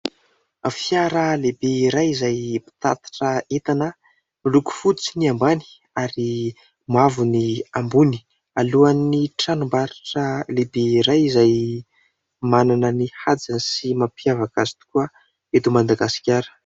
Fiara lehibe iray izay mpitatitra entana, miloko fotsy ny ambany ary mavo ny ambony ; alohany tranombarotra lehibe iray izay manana ny hajany sy mampiavaka azy tokoa eto Madagasikara.